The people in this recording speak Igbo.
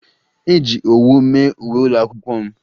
Eji owu mee uwe ụlọakwụkwọ m